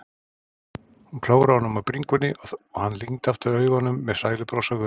Hún klóraði honum á bringunni og hann lygndi aftur augunum með sælubros á vör.